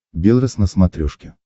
белрос на смотрешке